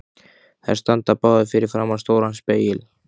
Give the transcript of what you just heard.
Þær standa báðar fyrir framan stóran spegil.